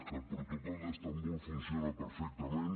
que el protocol d’istanbul funciona perfectament